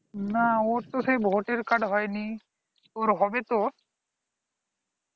না ওর তো সেই voter card হয়নি ওর হবে তো